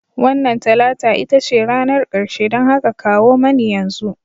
Wannan Talata ita ce ranar ƙarshe, don haka kawo mani yanzu